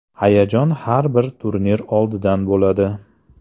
Hayajon har bir turnir oldidan bo‘ladi.